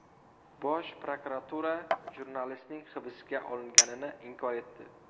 Bosh prokuratura jurnalistning hibsga olinganini inkor etdi .